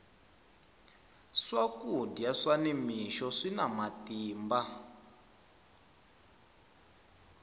swakudya swa ni mixo swina matimba